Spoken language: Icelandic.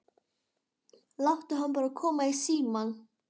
Láttu hana bara koma í símann.